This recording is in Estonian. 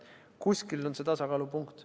Kuskil on see tasakaalupunkt.